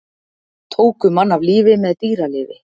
Tóku mann af lífi með dýralyfi